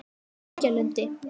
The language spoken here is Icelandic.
Reykjalundi